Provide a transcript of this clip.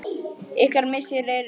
Ykkar missir er mikil.